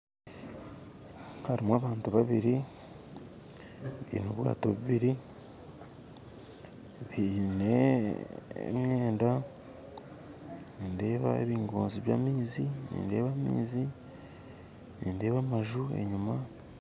Hariho abantu babiri baine obwato bubiri biine emyenda nindeeba ebingonzi by'amaizi nindeeba amaizi nindeeba amaju enyima